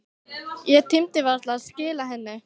Ég tímdi varla að skila henni.